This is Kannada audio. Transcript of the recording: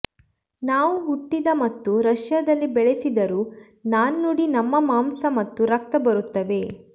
ನಾವು ಹುಟ್ಟಿದ ಮತ್ತು ರಷ್ಯಾದಲ್ಲಿ ಬೆಳೆಸಿದರು ನಾಣ್ಣುಡಿ ನಮ್ಮ ಮಾಂಸ ಮತ್ತು ರಕ್ತ ಬರುತ್ತವೆ